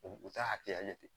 U u ta hakɛya ye ten